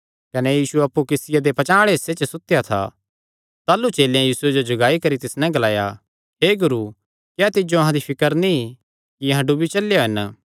कने यीशु अप्पु किस्तिया दे पचांह़ आल़े हिस्से च सुतेया था ताह़लू चेलेयां यीशुये जो जगाई करी तिस नैं ग्लाया हे गुरू क्या तिज्जो अहां दी फिकर नीं कि अहां डुबी चलेयो हन